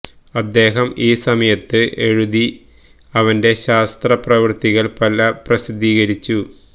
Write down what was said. അദ്ദേഹം ഈ സമയത്ത് എഴുതി അവന്റെ ശാസ്ത്ര പ്രവൃത്തികൾ പല പ്രസിദ്ധീകരിച്ചു